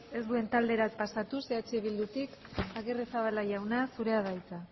ez duen taldera pasatuz eh bildutik agirrezabala jauna zurea da hitza